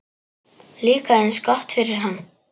Líka eins gott fyrir hann.